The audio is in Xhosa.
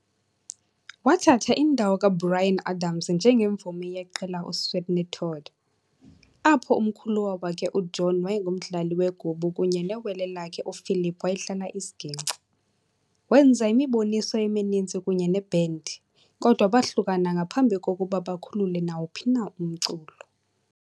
Wathatha indawo kaBryan Adams njengemvumi yeqela uSweeney Todd, apho umkhuluwa wakhe uJohn wayengumdlali wegubu kunye newele lakhe uPhilip wayedlala isiginci. Wenza imiboniso emininzi kunye nebhendi, kodwa bahlukana ngaphambi kokuba bakhulule nawuphi na umculo.